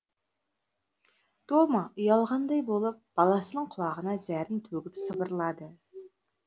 тома ұялғандай болып баласының құлағына зәрін төгіп сыбырлады